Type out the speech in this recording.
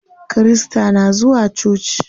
Kirista na zuwa coci.